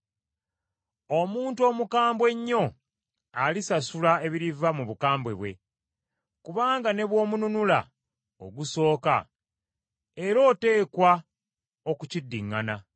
Omuntu omukambwe ennyo alisasula ebiriva mu bukambwe bwe, kubanga ne bw’omununula ogusooka era oteekwa okukiddiŋŋaana.